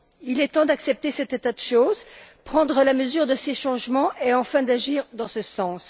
Il est temps d'accepter cet état de choses, de prendre la mesure de ces changements et enfin d'agir dans ce sens.